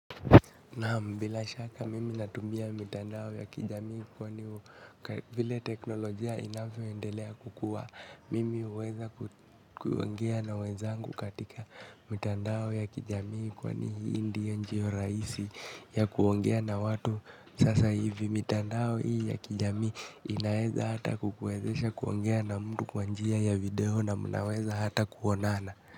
Naam, bila shaka mimi natumia mitandao ya kijamii kwani vile teknolojia inavyoendelea kukua. Mimi huweza kuongea na wenzangu katika mitandao ya kijamii kwani hii ndiyo njia rahisi ya kuongea na watu sasa hivi. Mitandao hii ya kijamii inaweza hata kukuwezesha kuongea na mtu kwa njia ya video na mnaweza hata kuonana.